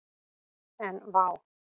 En vá!